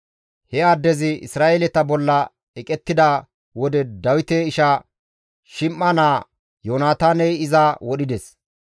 He addezi Isra7eeleta bolla eqettida wode Dawite isha Shim7a naa Yoonataaney iza wodhides.